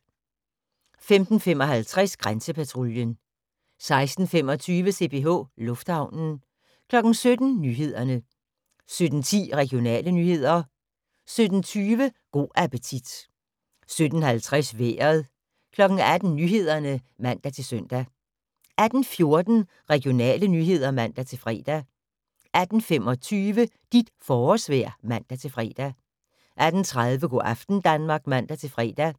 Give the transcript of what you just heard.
15:55: Grænsepatruljen 16:25: CPH Lufthavnen 17:00: Nyhederne 17:10: Regionale nyheder 17:20: Go' appetit 17:50: Vejret 18:00: Nyhederne (man-søn) 18:14: Regionale nyheder (man-fre) 18:25: Dit forårsvejr (man-fre) 18:30: Go' aften Danmark (man-fre)